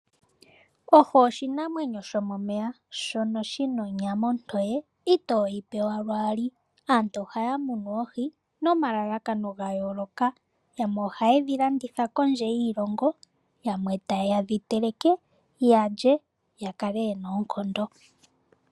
Ohi oshinamwenyo shomomeya shono shi na onyama ontoye itoyi pewa lwaali. Aantu ohaya munu oohi nomalalakano gayooloka. Yamwe ohaye dhi landitha kondje yiilongo, yamwe taye dhi teleke ya lye ya kale yena oonkondo.